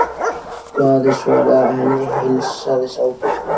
Daði svaraði að henni heilsaðist ágætlega.